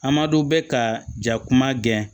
Amadu bɛ ka ja kuma gɛn